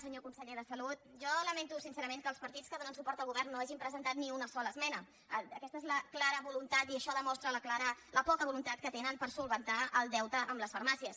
senyor conseller de salut jo lamento sincerament que els partits que donen suport al govern no hagin presentat ni una sola esmena aquesta és la clara voluntat i això demostra la poca voluntat que tenen per resoldre el deute amb les farmàcies